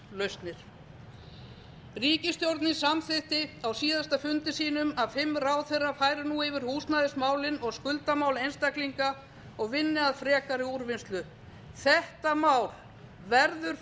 húsnæðislausnir ríkisstjórnin samþykkti á síðasta fundi sínum að fimm ráðherrar færu nú yfir húsnæðismálin og skuldamál einstaklinga og ynnu að frekari úrvinnslu það mál verður